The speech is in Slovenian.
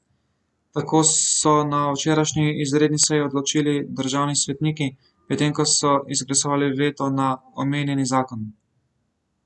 Tako so na včerajšnji izredni seji odločili državni svetniki, potem ko so izglasovali veto na omenjeni zakon.